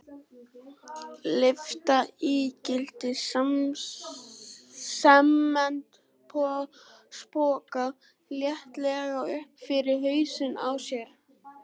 Lyfta ígildi sementspoka léttilega upp fyrir hausinn á sér.